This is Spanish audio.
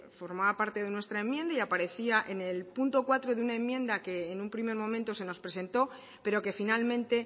formaba parte de nuestra enmienda y aparecía en el punto cuatro de una enmienda que en un primer momento se nos presentó pero que finalmente